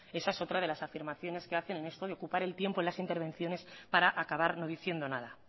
esa es otra de las afirmaciones que hacen en esto de ocupar el tiempo en las intervenciones para acabar no diciendo nada